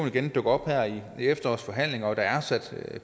igen dukker op her i efterårets forhandlinger der er sat